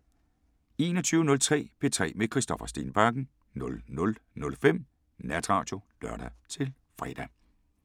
21:03: P3 med Christoffer Stenbakken 00:05: Natradio (lør-fre)